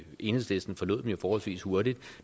enhedslisten forlod dem jo forholdsvis hurtigt